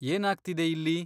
ಏನಾಗ್ತಿದೆ ಇಲ್ಲಿ?